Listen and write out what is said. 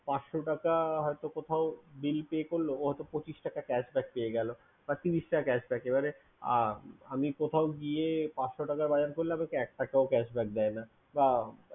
পাঁচশ টাকা হয়তো কোথাও bill pay করলো ও হয়তো পঁচিশ টাকা cashback পেয়ে গেলো বা ত্রিশ টাকা cashback আর আমি কোথাও গিয়ে পাঁচশ টাকা buy করলে এক টাকাও cashback দেয় না